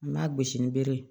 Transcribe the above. An b'a gosi ni bere ye